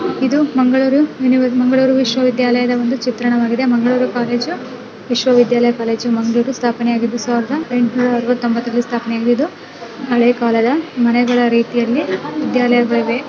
ಇದು ಮಂಗಳೂರು ಯೂನಿವ ಮಂಗಳೂರು ವಿಶ್ವವಿದ್ಯಾಲಯದ ಒಂದು ಚಿತ್ರಣವಾಗಿದೆ ಮಂಗಳೂರು ಕಾಲೇಜು ವಿಶ್ವವಿದ್ಯಾಲಯ ಕಾಲೇಜು ಮಂಗಳೂರು ಸ್ಥಾಪನೆ ಆಗಿದ್ದು ಸಾವಿರದ ಎಂಟ್ನೂರ ಅರುವತ್ತ ತೊಂಬತ್ತರಲ್ಲಿ ಸ್ಥಾಪನೆ ಆಗಿದ್ದು ಹಳೇ ಕಾಲದ ಮನೆಗಳ ರೀತಿಯಲ್ಲಿ ವಿದ್ಯಾಲಯಗಳಿವೆ.